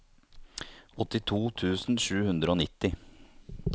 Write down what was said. åttito tusen sju hundre og nitti